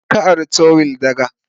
Wa ka ari trowel daga?